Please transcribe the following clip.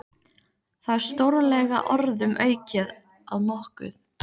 Það er stórlega orðum aukið að nokkuð.